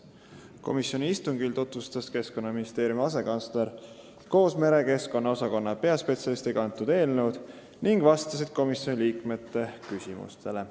Komisjoni istungil tutvustas eelnõu Keskkonnaministeeriumi asekantsler koos merekeskkonna osakonna peaspetsialistiga ja nad vastasid ka komisjoni liikmete küsimustele.